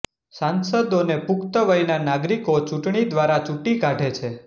સાંસદોને પુક્તવયના નાગરીકો ચૂંટણી દ્વારા ચૂંટી કાઢે છે